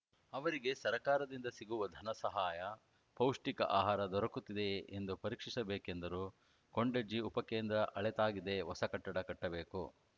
ಅವರಿಗೆ ಸರಕಾರದಿಂದ ಸಿಗುವ ಧನ ಸಹಾಯ ಪೌಷ್ಟಿಕ ಆಹಾರ ದೊರಕುತ್ತಿದೆಯೆ ಎಂದು ಪರೀಕ್ಷಿಸಬೇಕೆಂದರು ಕೊಂಡಜ್ಜಿ ಉಪಕೇಂದ್ರ ಹಳತಾಗಿದೆ ಹೊಸ ಕಟ್ಟಡ ಬೇಕು